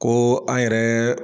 Ko an yɛrɛɛ